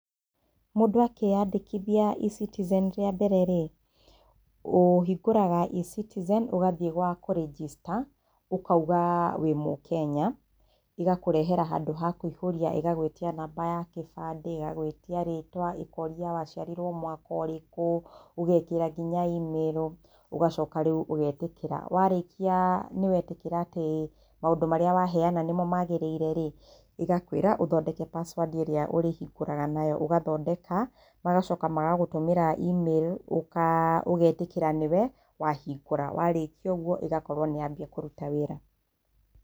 Mũndũ akĩyandĩkithia eCitizen rĩa mbere rĩ, ũhingũraga eCitizen ũgathiĩ kwa kũ register, ũkauga wĩ mũkenya, ĩgakũrehera handũ ha kũihũria ĩgagwĩtia namba ya kĩbandĩ ĩgagwĩtia ritwa, ĩkoria waciarirwo mwaka ũrĩkũ ũgekĩra nginya emairo ũgacoka rĩu ũgetĩkĩra warĩkia nĩ wĩtĩkĩra atĩ maũndũ maria waheana nĩmo magĩrĩire rĩ ĩgakũĩra ũthondeke password ĩrĩa ũrĩhingũraga nayo ũthathondeka magacoka magagũtũmĩra email ũgetĩkĩra nĩwe wahingũra warĩkia ũguo ĩgakorwo nĩ yambĩrĩria kũruta wĩra.